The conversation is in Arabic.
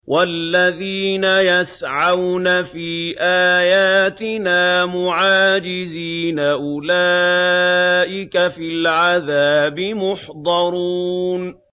وَالَّذِينَ يَسْعَوْنَ فِي آيَاتِنَا مُعَاجِزِينَ أُولَٰئِكَ فِي الْعَذَابِ مُحْضَرُونَ